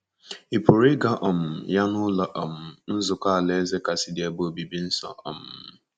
Ị pụrụ ịga um ya n’Ụlọ um Nzukọ Alaeze kasị dị ebe obibi nso. um